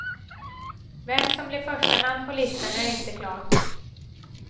Vem som blir förstanamn på listan är inte klart.